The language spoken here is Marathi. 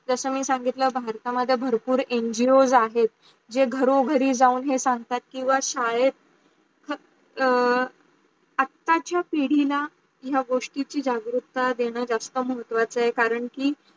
जस मी सांगितलं होत मंडळ भरपूर ngos आहेत जे घरो घरी जाऊन हे सांगतात किव्वा शादेत आता चा पिढी ला या गोष्टीची जागरूकता देणारा जास्त महत्वाच आहे करण की